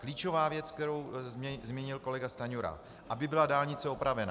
Klíčová věc, kterou zmínil kolega Stanjura - aby byla dálnice opravena.